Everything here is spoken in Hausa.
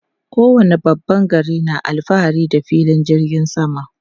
Kowane babban gari na alfahari da filin jirgin sama.